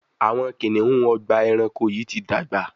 Awọn kiniun Ọgbà ẹranko yi ti dàgbà